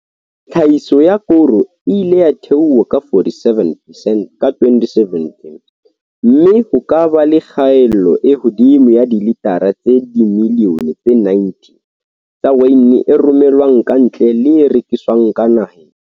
Tlhahiso ya koro e ile ya theoha ka 47percent ka 2017 mme ho ka ba le kgaelo e hodimo ya dilitara tse dimi lione tse 90 tsa waene e rome lwang kantle le e rekiswang ka naheng.